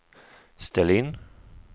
ställ in